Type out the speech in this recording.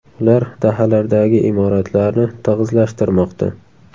Ular dahalardagi imoratlarni tig‘izlashtirmoqda.